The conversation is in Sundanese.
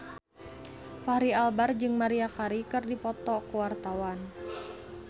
Fachri Albar jeung Maria Carey keur dipoto ku wartawan